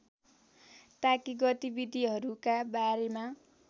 ताकि गतिविधिहरूका बारेमा